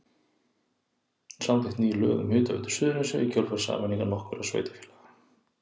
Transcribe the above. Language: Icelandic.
Samþykkt ný lög um Hitaveitu Suðurnesja í kjölfar sameiningar nokkurra sveitarfélaga.